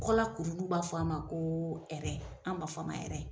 Kɔlakuruni u b'a fɔ a ma ko an ba fɔ a ma yan